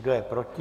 Kdo je proti?